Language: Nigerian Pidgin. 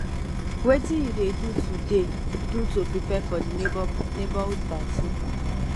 wetin you dey do to dey do to prepare for di neighborhood party